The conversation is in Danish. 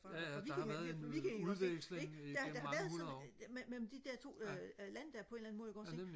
ja ja der har været en udveksling i gennem mange hundrede år ja ja nemlig